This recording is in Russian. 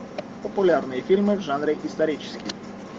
популярные фильмы в жанре исторический